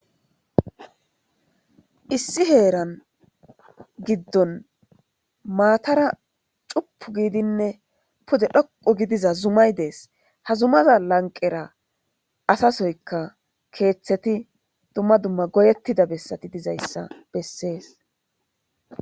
issi heeran giddon maatara cupu giidinne pude dhoqu gidiza zumay dees hazumaza lanqera asasoyka keeththeti dumma dumma goyettida bessati dizayssa bessees